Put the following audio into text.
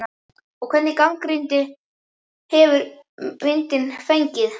En hvernig gagnrýni hefur myndin fengið?